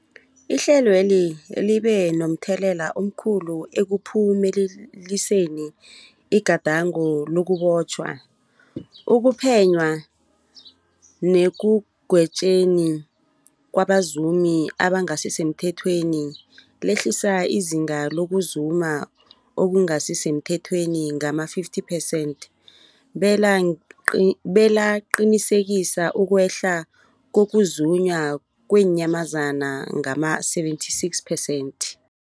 Ihlelweli libe momthelela omkhulu ekuphumeleliseni igadango lokubotjhwa, ukuphenywa nekugwetjweni kwabazumi abangasisemthethweni, lehlisa izinga lokuzuma okungasi semthethweni ngama-50 percent belaqinisekisa ukwehla kokuzunywa kweenyamazana ngama-76 percent.